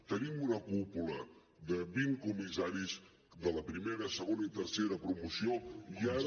tenim una cúpula de vint comissaris de la primera segona i tercera promoció i ara